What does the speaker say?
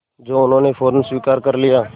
जो उन्होंने फ़ौरन स्वीकार कर लिया